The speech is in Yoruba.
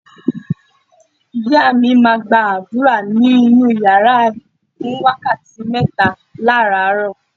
Ìyá mi máa gbàdúrà nínú yàrá ẹ̀ fún wákàtí mẹ́ta láràárọ.